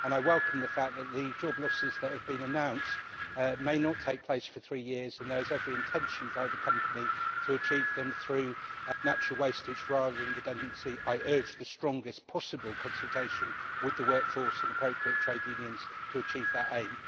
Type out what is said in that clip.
I welcome the fact that the job losses that have been announced may not take place for three years, and that there is every intention by the company to achieve them through natural wastage rather than redundancy. I urge the strongest possible consultation with the workforce and appropriate trade unions to achieve that aim.